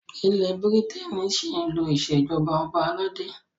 Ilẹ́ Bírítènì ṣí ń lo ìṣèjọba ọba aládé.